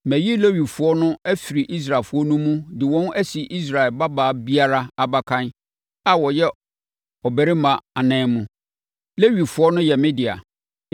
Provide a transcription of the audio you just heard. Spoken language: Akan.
“Mayi Lewifoɔ no afiri Israelfoɔ no mu de wɔn asi Israel babaa biara abakan a ɔyɛ ɔbarima anan mu. Lewifoɔ no yɛ me dea,